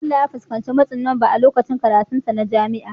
Bello ya fuskanci matsin lamba a lokacin karatunsa na jami'a.